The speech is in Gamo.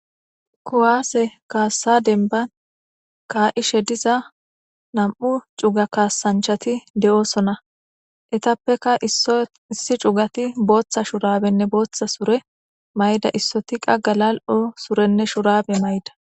Kuwase kaassa denban kaa7ishe diza nam7u cuga kaasanchati de7osona etappeka issi cugati booththa shurabenne booththa sure mayda issoti qaggalal7o surenne shurabe mayda.